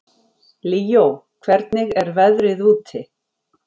Líó, hvernig er veðrið úti?